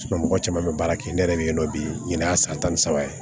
mɔgɔ caman bɛ baara kɛ ne yɛrɛ bɛ yen nɔ bi n'a san tan ni saba ye